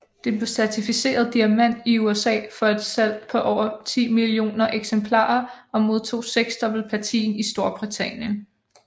Det blev certificeret Diamant i USA for et salg på over 10 millioner eksemplarer og modtog seksdobbelt platin i Storbritannien